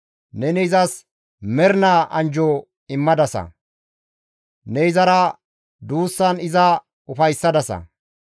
Neni izas mernaa anjjo immadasa; ne izara duussan iza ufayssadasa.